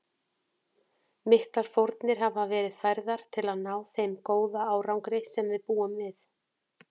Miklar fórnir hafa verið færðar til að ná þeim góða árangri sem við búum við.